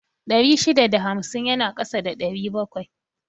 Ɗari shida da hamsin yana ƙasa da ɗari bakwai